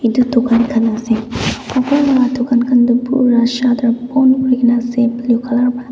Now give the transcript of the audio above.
dukan khan ase dukan khan tu pura shutter bon kuri na ase blue colour pra.